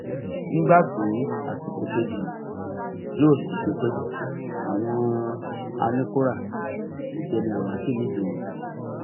nígbà tí àsìkò kejì yìí yóò sì fi pe àwọn anìkóra ti dẹni àwátì nìgboro